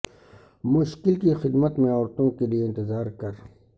مشکل کی خدمت میں عورتوں کے لئے انتظار کر